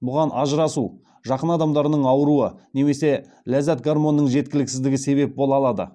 бұған ажырасу жақын адамдарының ауыруы немесе ләззат гормонының жеткіліксіздігі себеп бола алады